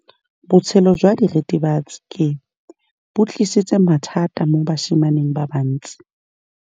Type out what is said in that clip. Botshelo jwa diritibatsi ke bo tlisitse mathata mo basimaneng ba bantsi.